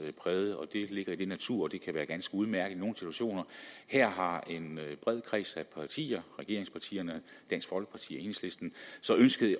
natur at det kan være ganske udmærket i nogle situationer her har en bred kreds af partier regeringspartierne dansk folkeparti og enhedslisten så ønsket